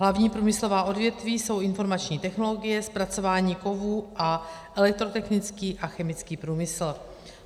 Hlavní průmyslová odvětví jsou informační technologie, zpracování kovů a elektrotechnický a chemický průmysl.